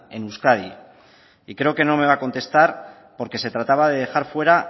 en euskadi y creo que no me va a contestar porque se trataba de dejar fuera